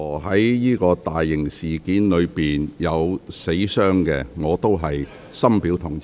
在任何大型事件中有人死傷，我都深表同情。